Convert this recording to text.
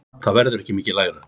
Það verður ekki mikið lægra.